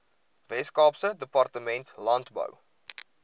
weskaapse departement landbou